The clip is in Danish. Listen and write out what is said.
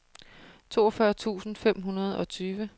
toogfyrre tusind fem hundrede og tyve